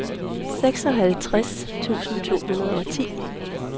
seksoghalvtreds tusind to hundrede og ti